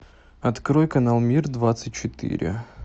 открой канал мир двадцать четыре